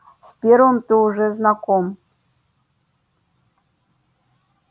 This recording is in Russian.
с первыми ты уже знаком